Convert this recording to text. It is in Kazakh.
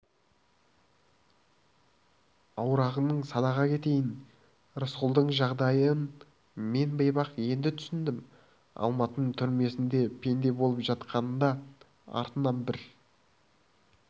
аруағыңнан садаға кетейін рысқұлдың жағдайын мен бейбақ енді түсіндім алматының түрмесінде пенде болып жатқанында артынан бір